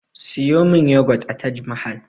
Siyo min yagwat a taj mahal